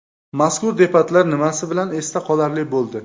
Mazkur debatlar nimasi bilan esda qolarli bo‘ldi?